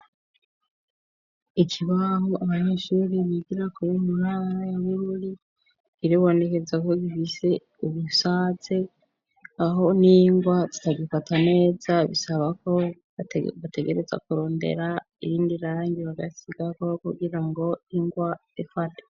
Ikibaho abanyeshuri bigirako mu ntara ya bururi biribonekeza ko gifise ubusatse aho n'ingwa zitagifata neza bisaba ko bategereza kurondera irindi rangi bagasigako kugira ngo ingwa ifate.